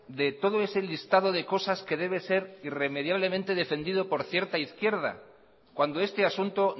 de todo ese listado de cosas que debe ser irremediablemente defendido por cierta izquierda cuando este asunto